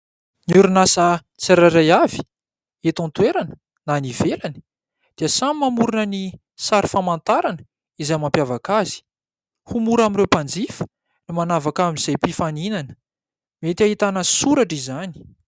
Ny orinasa tsirairay avy, eto an-toerana na any ivelany, dia samy mamorona ny sary famantarana izay mampiavaka azy ho mora amin'ireo mpanjifa ny manavaka amin'izay mpifaninana ; mety hahitana soratra izany.